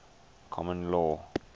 common law